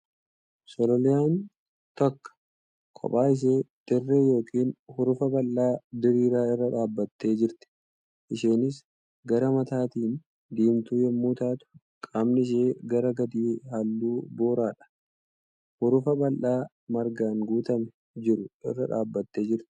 Sololiyaan takka kophaa ishee dirree yookiin hurufa bal'aa diriira irra dhaabbattee jirti. Isheenis gara mataatiin diimtuu yemmuu taatu qaamni ishee gara gadii halluu booradha. Hurufa bal'aa margaan guutamee jiru irra dhaabbattee jirti.